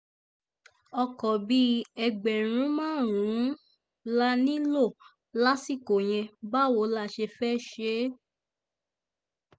ọkọ̀ bíi ẹgbẹ̀rún márùn-ún la nílò lásìkò yẹn báwo la ṣe fẹ́ẹ́ ṣe